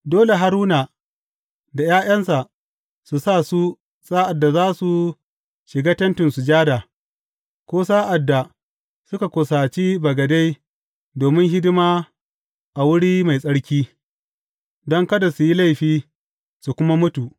Dole Haruna da ’ya’yansa su sa su sa’ad da za su shiga Tentin Sujada, ko sa’ad da suka kusace bagade domin hidima a Wuri Mai Tsarki, don kada su yi laifi, su kuma mutu.